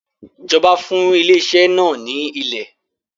Ìjọba fún ilé iṣẹ́ náà ní ilè.